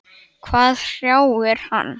Hvað hrjáir hann?